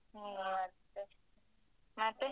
ಮತ್ತೆ?